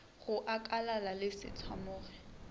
go akalala le se tshwamoge